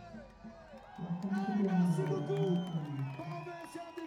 Laka mar gwen onego ongii gwen matuo.